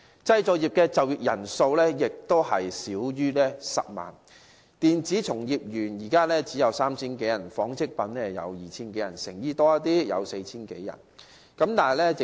製造業就業人數亦少於10萬人。電子從業員現時只有 3,000 多人，紡織業只有 2,000 多人，成衣方面稍為多一點，有 4,000 多人。